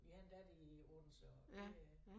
Vi har en datter i Odense og det er